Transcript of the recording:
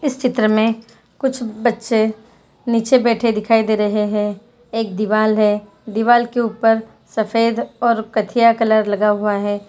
इस चित्र मे कुछ बच्चे नीचे बेठे दिखाई दे रहे है एक दीवाल है दीवाल के ऊपर सफेद और कचिया कॉलर कलर लगा हुआ है।